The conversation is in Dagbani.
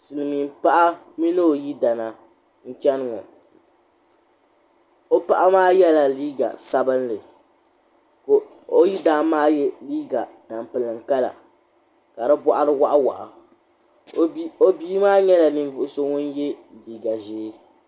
Silimiin paɣa mini o yidana n cheni ŋɔ o paɣa maa yela liiga sabinli ka o yidana maa ye liiga tampilim kala ka di boɣuri waɣa waɣa o bia maa nyɛla ninvuɣuso ŋun ye liiga ʒee.